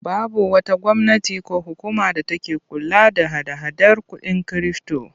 Babu wata gwamnati ko hukuma da take kula da hada-hadar kuɗin kirifto.